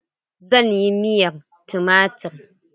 Zan yi miyar tumatir.